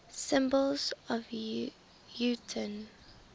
symbols of utah